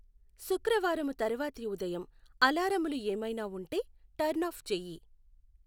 శుక్రువారము తరవాతి ఉదయము అలారములు ఏమైనా వుంటే టర్న్ ఆఫ్ చేయి